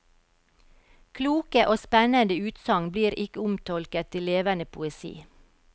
Kloke og spennende utsagn blir ikke omtolket til levende poesi.